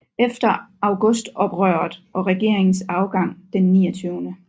Efter Augustoprøret og regeringens afgang den 29